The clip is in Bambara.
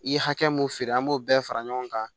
I ye hakɛ mun feere an b'o bɛɛ fara ɲɔgɔn kan